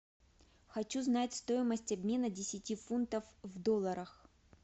хочу знать стоимость обмена десяти фунтов в долларах